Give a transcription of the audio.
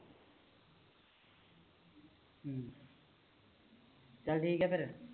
ਚੱਲ ਠੀਕ ਆ ਫਿਰ